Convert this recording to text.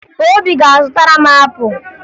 Obi ga-azụtara m apụ